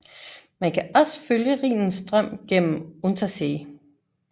Man kan også følge Rhinens strøm gennem Untersee